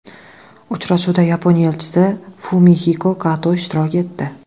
Uchrashuvda Yaponiya Elchisi Fumihiko Kato ishtirok etdi.